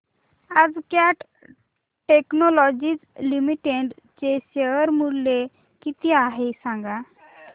आज Cat Technologies Limited चे share चे मूल्य किती आहे सांगा